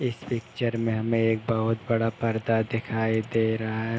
इस पिक्चर में हमें एक बहुत बड़ा पर्दा दिखाई दे रहा है।